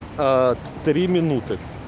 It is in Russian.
три минуты